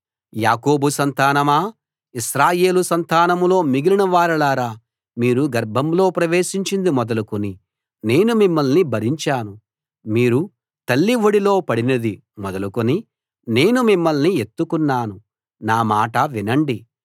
యాకోబు సంతానమా ఇశ్రాయేలు సంతానంలో మిగిలిన వారలారా మీరు గర్భంలో ప్రవేశించింది మొదలుకుని నేను మిమ్మల్ని భరించాను మీరు తల్లి ఒడిలో పడినది మొదలుకొని నేను మిమ్మల్ని ఎత్తుకున్నాను నా మాట వినండి